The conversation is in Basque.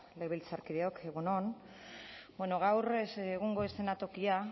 legebiltzarkideok egun on bueno gaur egungo eszenatokian